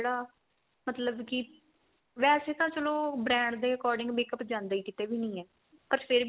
ਜਿਹੜਾ ਮਤਲਬ ਕੀ ਵੈਸੇ ਤਾਂ ਚਲੋ brand ਦੇ according makeup ਜਾਂਦਾ ਕਿਤੇ ਵੀ ਨਹੀਂ ਏ ਪਰ ਫੇਰ